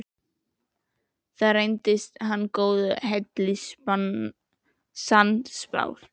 Þar reyndist hann góðu heilli sannspár.